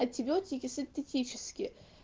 антибиотики синтетические